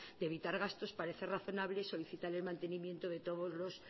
de evitar gastos parece razonable solicitar el mantenimiento de todos los